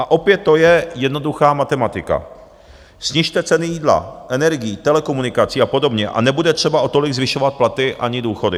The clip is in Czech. A opět to je jednoduchá matematika: snižte ceny jídla, energií, telekomunikací a podobně a nebude třeba o tolik zvyšovat platy ani důchody.